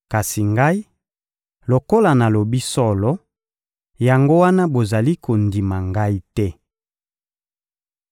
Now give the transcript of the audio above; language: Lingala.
Kasi Ngai, lokola nalobi solo, yango wana bozali kondima Ngai te.